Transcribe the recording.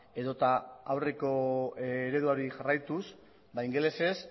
edota aurreko ereduari jarraituz ingelesez